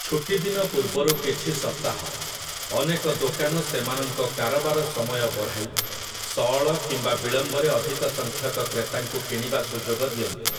ଛୁଟିଦିନ ପୂର୍ବରୁ କିଛି ସପ୍ତାହ, ଅନେକ ଦୋକାନ ସେମାନଙ୍କ କାରବାର ସମୟ ବଢ଼ାଇ, ସଅଳ କିମ୍ବା ବିଳମ୍ବରେ ଅଧିକ ସଂଖ୍ୟକ କ୍ରେତାଙ୍କୁ କିଣିବା ସୁଯୋଗ ଦିଅନ୍ତି ।